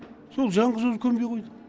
сол жалғыз өзі көнбей қойды